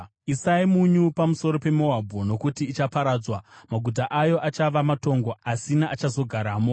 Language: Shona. Isai munyu pamusoro peMoabhu, nokuti ichaparadzwa; maguta ayo achava matongo, asina achazogaramo.